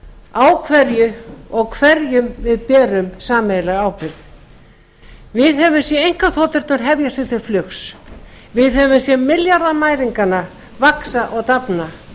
á hverju og hverjum við berum sameiginlega ábyrgð við höfum séð einkaþoturnar hefja sig til flugs við höfum séð milljarðamæringana vaxa og dafna